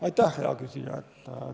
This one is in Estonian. Aitäh, hea küsija!